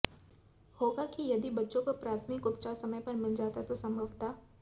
होगा कि यदि यदि बच्चों को प्राथमिक उपचार समय पर मिल जाता तो संभवतः